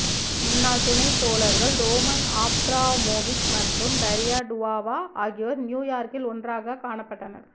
முன்னாள் துணைத்தோழர்கள் Roman Abramovich மற்றும் டரியா டுவாவா ஆகியோர் நியூ யார்க்கில் ஒன்றாகக் காணப்பட்டனர்